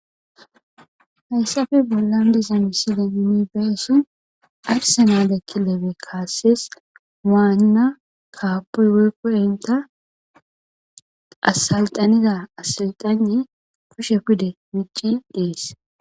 hayssafe bollan diza misile imibeesi arse naadekki lebe kaassees waanna kaapoy woykkoy inta asalxanida asalxane kushe pide micci diis